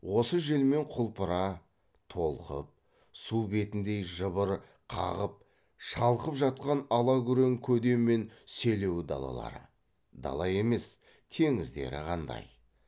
осы желмен құлпыра толқып су бетіндей жыбыр қағып шалқып жатқан алакүрең көде мен селеу далалары дала емес теңіздері қандай